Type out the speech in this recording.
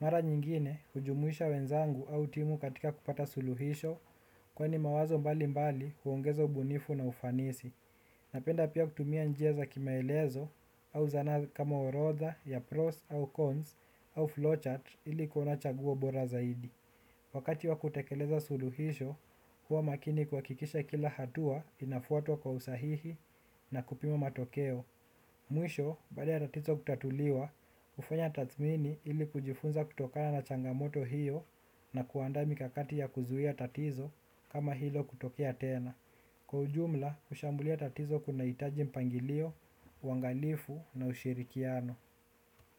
Mara nyingine hujumuisha wenzangu au timu katika kupata suluhisho kwani mawazo mbali mbali huongeza ubunifu na ufanisi. Napenda pia kutumia njia za kimaelezo au zana kama orodha ya pros au cons au flowchart ili kuona chaguo bora zaidi. Wakati wa kutekeleza suluhisho huwa makini kuhakikisha kila hatua inafuatwa kwa usahihi na kupima matokeo. Mwisho, baada ya tatizo kutatuliwa, hufanya tadhmini ili kujifunza kutokana na changamoto hiyo na kuanda mikakati ya kuzuia tatizo kama hilo kutokea tena. Kwa ujumla, kushambulia tatizo kuna hitaji mpangilio, uangalifu na ushirikiano.